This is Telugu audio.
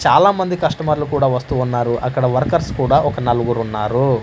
చాలామంది కస్టమర్లు కూడా వస్తూ ఉన్నారు అక్కడ వర్కర్స్ కూడా ఒక నలుగురున్నారు.